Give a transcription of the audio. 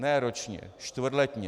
Ne ročně, čtvrtletně.